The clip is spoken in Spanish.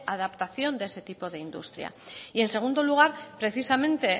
adaptación de ese tipo de industria y en segundo lugar precisamente